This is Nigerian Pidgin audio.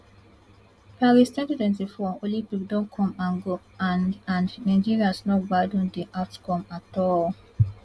paris twenty twenty four olympic don come and go and and nigerians no gbadun di outcome at all